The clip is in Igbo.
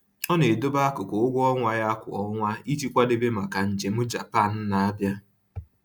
Ọ na-edobe akụkụ nke ụgwọ ọnwa ya kwa ọnwa iji kwadebe maka njem Japan na-abịa